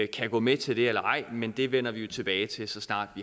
kan gå med til det eller ej men det vender vi tilbage til så snart